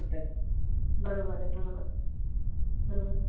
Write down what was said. बरोबर आहे बरोबर बरोबेर